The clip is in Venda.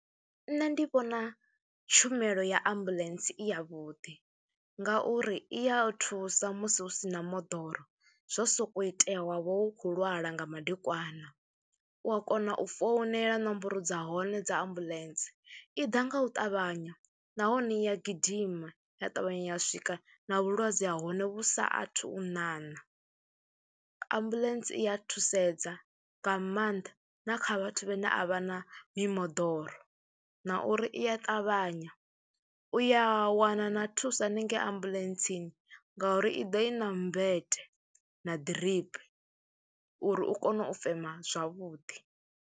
Nṋe ndi vhona tshumelo ya ambuḽentse i yavhuḓi ngauri i ya thusa musi hu si na moḓoro, zwo sokou itea wav ha wo khou lwala nga madekwana. U a kona u founela nomboro dza hone dza ambuḽentse, i ḓa nga u ṱavhanya nahone i a gidima ya ṱavhanya ya swika na vhulwadze ha hone vhu saathu u ṋaṋa. Ambuḽentse i a thusedza nga maanḓa na kha vhathu vhane a vha na mimoḓoro na uri i a ṱavhanya, u ya wana na thuso haningei ambuḽentsi ngauri i ḓo i na mmbete na ḓiripi uri u kone u fema zwavhuḓi.